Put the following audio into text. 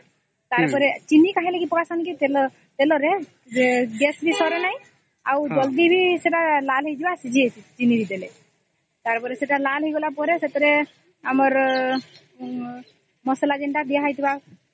ତାର ପରେ ଚିନି କହେ ନକେ ପାକେ ଯେ ତେଲ ରେ gas ବି ସରେ ନାଇଁ ଆଉ ଜଲ୍ଦି ବି ସେଟା ଲାଲ ହେଇଯାଇଥିବା ଚିନି ଦେଲା ଆଉ ସେଟା ଲାଲ ହେଇଗଲା ପରେ ମସଲା ଯେନ୍ତା ଦେଏ ହେଇଥିବା